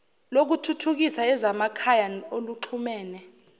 lokuthuthukisa ezasemakhaya oluxhumene